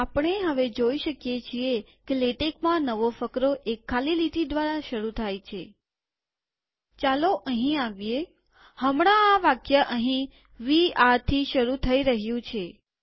આપણે હવે જોઈ શકીએ છીએ કે લેટેકમાં નવો ફકરો એક ખાલી લીટી દ્વારા શરુ થાય છે ચાલો અહીં આવીએહમણાં આ વાક્ય અહીં વે areથી શરુ થઇ રહ્યું છે